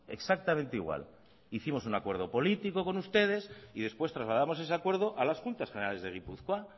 exactamente igual hicimos un acuerdo político con ustedes y después trasladamos ese acuerdo a las juntas generales de gipuzkoa